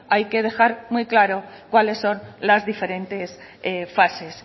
hay que dejar muy claro cuáles son las diferentes fases